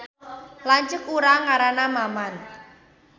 Lanceuk urang ngaranna Maman